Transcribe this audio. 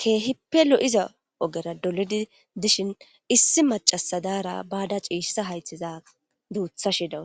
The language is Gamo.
keehipelo7iza ogera dolidi dishin issi macasadaara baada ciishsa haythiza duutha shiidawu